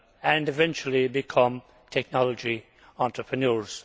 and eventually become technology entrepreneurs.